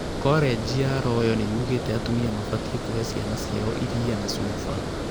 Kolenji ya Royal nĩyugĩte atumia mabatie kũhe ciana ciao iria na cuba